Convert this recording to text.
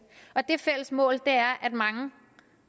og det fælles mål er at mange